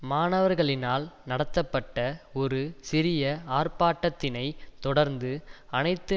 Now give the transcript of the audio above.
மாணவர்களினால் நடத்தப்பட்ட ஒரு சிறிய ஆர்ப்பாட்டத்தினைத் தொடர்ந்து அனைத்து